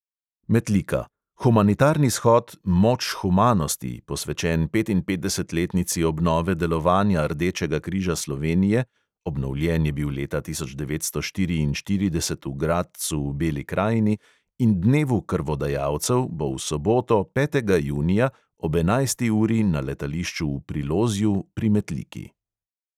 Metlika: humanitarni shod "moč humanosti", posvečen petinpetdesetletnici obnove delovanja rdečega križa slovenije (obnovljen je bil leta tisoč devetsto štiriinštirideset v gradcu v beli krajini) in dnevu krvodajalcev bo v soboto, petega junija, ob enajsti uri na letališču v prilozju pri metliki.